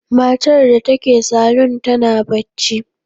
Matar da take salon tana bacci.